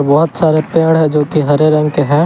बहोत सारे पेड़ है जो की हरे रंग के हैं।